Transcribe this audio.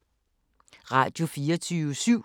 Radio24syv